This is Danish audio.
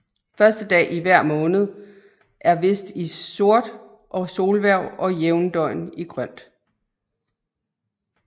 Første dag i hver måned er vist i sort og solhverv og jævndøgn i grønt